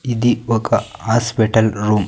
ఇది ఒక్క hospital room .